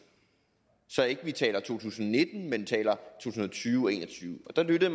så vi ikke taler to tusind og nitten men to tusind og tyve og en og tyve og der lyttede